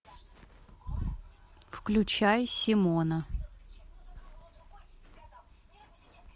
включай симона